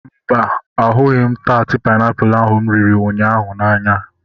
Mba, ahụghị taat painiapulu ahu mụ riri ụnyaahụ n'anya